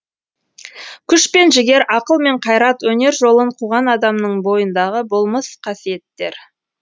күш пен жігер ақыл мен қайрат өнер жолын қуған адамның бойындағы болмыс қасиеттер